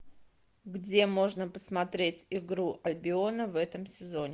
где можно посмотреть игру альбиона в этом сезоне